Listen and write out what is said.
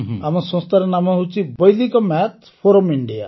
ଆମ ସଂସ୍ଥାର ନାମ ହେଉଛି ବୈଦିକ ମ୍ୟାଥ୍ ଫୋରମ୍ ଇଣ୍ଡିଆ